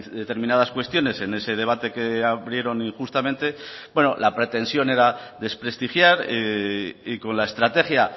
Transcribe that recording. determinadas cuestiones en ese debate que abrieron injustamente bueno la pretensión era desprestigiar y con la estrategia